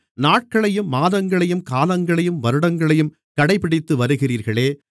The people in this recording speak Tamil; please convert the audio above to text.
நாட்களையும் மாதங்களையும் காலங்களையும் வருடங்களையும் கடைபிடித்து வருகிறீர்களே